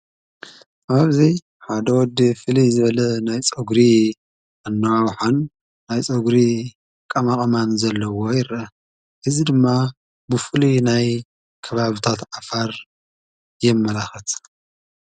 ኣባብዘይ ሓደወድ ፊል ዝበለ ናይ ጾግሪ ኣኖዓሓን ናይጾግሪ ቃማቐማን ዘለዎ ይረ እዝ ድማ ብፉል ናይ ከባብታ ተኣፋር የመላኸት።